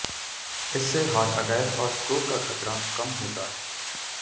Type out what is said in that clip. इससे heart attack और stroke का खतरा कम होता है